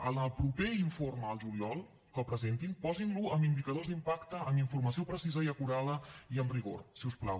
en el proper informe el juliol que presentin posin lo amb indicadors d’impacte amb informació precisa i acurada i amb rigor si us plau